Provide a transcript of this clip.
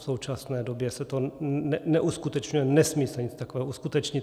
V současné době se to neuskutečňuje, nesmí se nic takového uskutečnit.